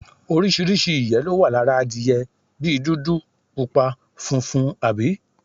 Oríṣiríṣi ìyé ló wà lára adiye bí dúdú, pupa, funfun abbl